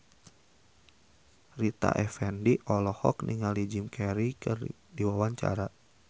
Rita Effendy olohok ningali Jim Carey keur diwawancara